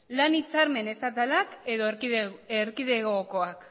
lan hitzarmen estatala edo erkidegokoak